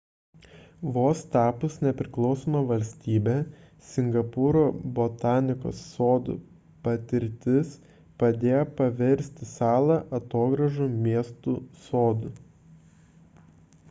vos tapus nepriklausoma valstybe singapūro botanikos sodų patirtis padėjo paversti salą atogrąžų miestu sodu